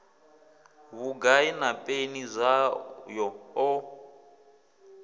vhugai na peni zwayo o